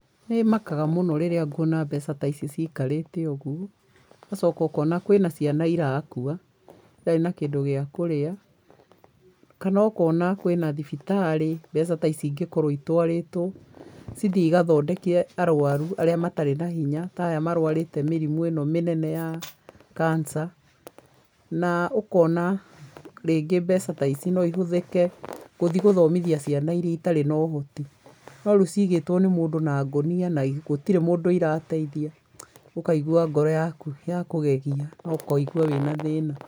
Nĩ makaga mũno rĩrĩa nguona mbeca ta ici ciikarĩte ũguo, ũgacoka ũkona kwĩ na ciana irakua itarĩ na kĩndũ gĩa kũrĩa, kana ũkona kwĩ na thibitarĩ mbeca ta ici ingĩkorũo itwarĩtwo, cithiĩ igathondeke arwaru arĩa matarĩ na hinya ta aya marwarĩte mĩrimũ ĩno mĩnene ya cancer, na ũkona rĩngĩ mbeca ta ici no ihũthĩke gũthi gũthomithia ciana iria itarĩ na ũhoti. No rĩu ciigĩtwo nĩ mũndũ na ngonia na gũtirĩ mũndũ irateithia, ũkaigua ngoro yaku yakũgegia na ũkaigua wĩ na thĩĩna.